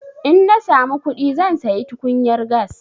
In na samu kuɗi zan sayi tukunyar gas.